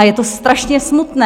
A je to strašně smutné.